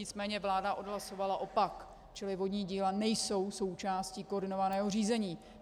Nicméně vláda odhlasovala opak, čili vodní díla nejsou součástí koordinovaného řízení.